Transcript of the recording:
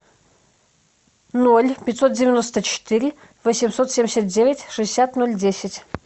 ноль пятьсот девяносто четыре восемьсот семьдесят девять шестьдесят ноль десять